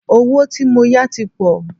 Owó tí mó yá tí pọ̀.